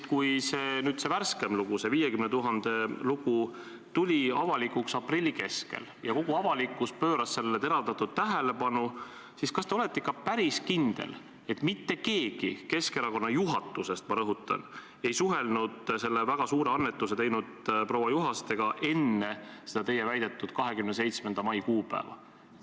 Kui see värskem lugu, see 50 000 lugu tuli avalikuks aprilli keskel ja kogu avalikkus pööras sellele teravdatud tähelepanu, siis kas te olete ikka päris kindel, et mitte keegi Keskerakonna juhatusest – ma rõhutan – ei suhelnud selle väga suure annetuse teinud proua Juhastega enne seda teie väidetud 27. mai kuupäeva?